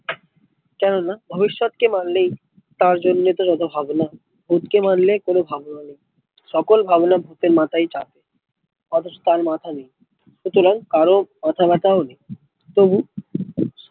কেন না ভবিষ্যৎ কে মানলেই তার জন্যে তো যত ভাবনা ভুত কে মানলে কোনো ভাবনা নেই সকল ভাবনা ভুতের মাথায় ই চাপে অথচ তার মাথা নেই সুতরাং কারো মাথা ব্যাথা ও নেই তবু